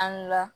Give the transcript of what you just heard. An ga